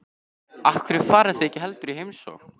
Af hverju farið þið ekki heldur í heimsókn?